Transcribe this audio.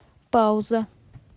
пауза